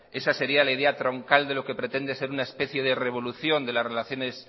esa sería la idea troncal de lo que pretende ser una especie de revolución de las relaciones